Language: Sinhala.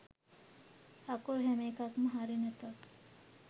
අකුරු හැම එකක්ම හරි නැතත්